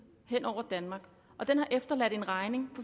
hen over danmark og den har efterladt en regning